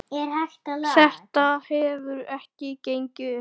Þetta hefur ekki gengið upp.